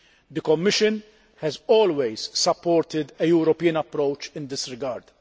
The Commission has always supported a European approach in this regard.